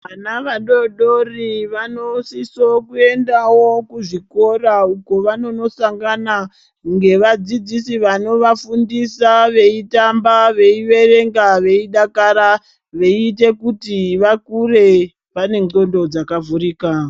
Vana vadodori vanosiso kuendavo kuzvikora uko kwavanonosangana ngevadzidzisi vanonovafundisa veitamba, veiverenga, veidakara veiita kuti vakure vane ndxondo dzakavhurika.